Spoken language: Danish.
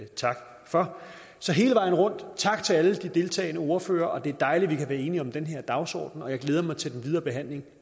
tak for så hele vejen rundt tak til alle de deltagende ordførere det er dejligt at vi er enige om den her dagsorden og jeg glæder mig til den videre behandling